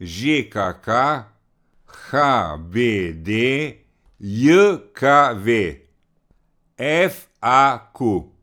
Ž K K; H B D J K V; F A Q.